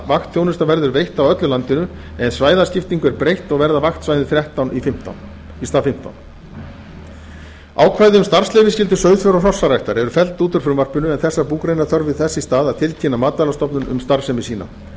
vaktþjónusta verður veitt á öllu landinu en svæðaskiptingu er breytt og verða vaktsvæðin þrettán í stað fimmtán ákvæði um starfsleyfisskyldu sauðfjár og hrossaræktar eru felld út úr frumvarpinu en þær búgreinar þurfa þess í stað að tilkynna matvælastofnun um starfsemi sína þá